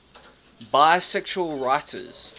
bisexual writers